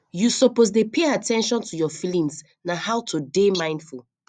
you suppose dey pay at ten tion to your feelings na how to dey mindful